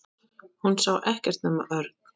Hún sá ekkert nema Örn.